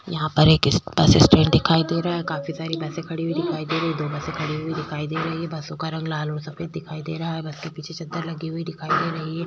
यहां पर एक इस बस स्टैंड दिखाई दे रहा है। काफी सारी बसें खड़ी हुई दिखाई दे रही हैं। दो बसें खड़ी हुई दिखाई दे रही हैं। बसों का रंग लाल और सफेद दिखाई दे रहा है। बस के पीछे चद्दर लगी हुई दिखाई दे रही है।